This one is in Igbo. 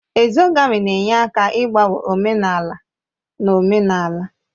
Ezogamị na-enye aka n'ịgbanwe omenala na omenala